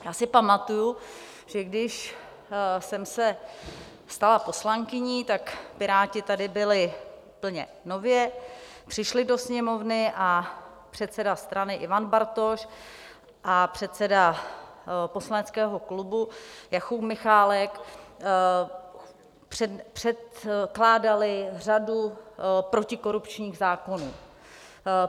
Já si pamatuji, že když jsem se stala poslankyní, tak Piráti tady byli úplně nově, přišli do Sněmovny a předseda strany Ivan Bartoš a předseda poslaneckého klubu Jakub Michálek předkládali řadu protikorupčních zákonů.